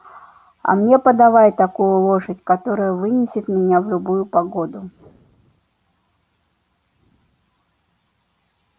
а мне подавай такую лошадь которая вынесет меня в любую погоду